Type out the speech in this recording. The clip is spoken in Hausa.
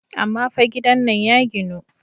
Amma fa gidan nan ya ginu.